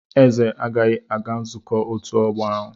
Eze agaghị aga nzukọ otu ogbo ahu.